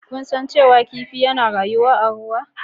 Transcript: Kun san cewa kifi suna rayuwa a cikin ruwa?